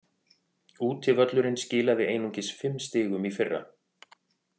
Útivöllurinn skilaði einungis fimm stigum í fyrra.